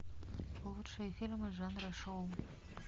лучшие фильмы жанра шоу